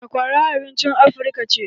Sakwara abincin Afirka ce.